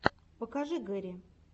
покажи гэри